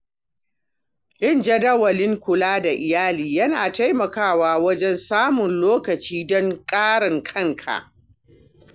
Yin jadawalin kula da iyali yana taimakawa wajen samun lokaci don karan kanka.